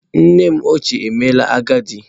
Nnem ochie emeela agadi.